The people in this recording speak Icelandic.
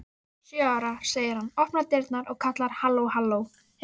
Sjö ára, segir hann, opnar dyrnar og kallar: halló halló